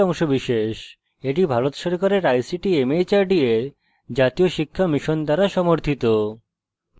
এটি ভারত সরকারের ict mhrd এর জাতীয় সাক্ষরতা mission দ্বারা সমর্থিত